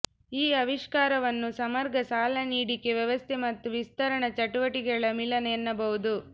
ಈ ಆವಿಷ್ಕಾರವನ್ನು ಸಮಗ್ರ ಸಾಲ ನೀಡಿಕೆ ವ್ಯವಸ್ಥೆ ಮತ್ತು ವಿಸ್ತರಣಾ ಚಟುವಟಿಕೆಗಳ ಮಿಲನ ಎನ್ನಬಹುದು